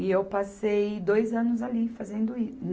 E eu passei dois anos ali fazendo i